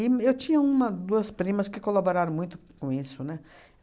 eu tinha uma, duas primas que colaboraram muito com isso, né?